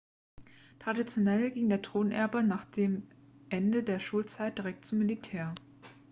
traditionell ging der thronerbe nach dem ende der schulzeit direkt zum militär